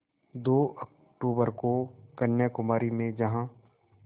दो अक्तूबर को कन्याकुमारी में जहाँ